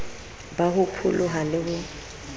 ba ho pholoha le ho